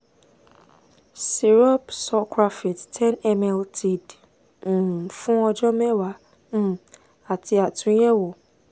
syrup sucralfate ten ml tid um fun ọjọ mẹ́wàá um ati atunyẹwo